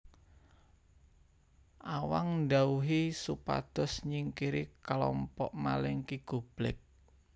Awang ndhawuhi supados nyingkiri kalompok maling Ki Goblek